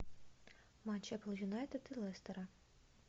матч апл юнайтед и лестера